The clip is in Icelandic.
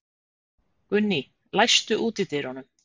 Gunný, læstu útidyrunum.